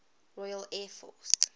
royal air force